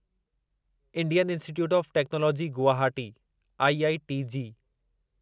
Indian Institute of Technology Guwahati IIT JEE